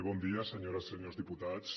bon dia senyores senyors diputats